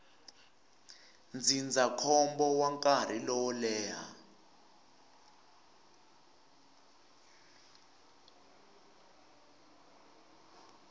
ndzindzakhombo wa nkarhi lowo leha